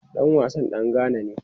Dan wasan dan Ghana ne.